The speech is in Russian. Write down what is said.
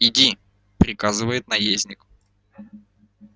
иди приказывает наездник